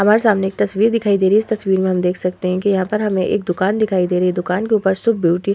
हमारे सामने एक तस्वीर दिखाई दे रही है। इस तस्वीर में हम देख सकते हैं की यहाँ पर हमे एक दुकान दिखाई दे रही है। दुकान के ऊपर सो ब्यूटी --